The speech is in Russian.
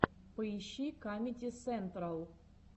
поищи камеди сентрал